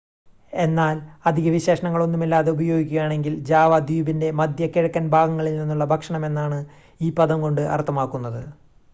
എന്നാൽ അധിക വിശേഷണങ്ങൾ ഒന്നുമില്ലാതെ ഉപയോഗിക്കുകയാണെങ്കിൽ ജാവ ദ്വീപിൻ്റെ മധ്യ കിഴക്കൻ ഭാഗങ്ങളിൽ നിന്നുള്ള ഭക്ഷണമെന്നാണ് ഈ പദം കൊണ്ട് അർത്ഥമാക്കുന്നത്